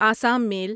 Assam میل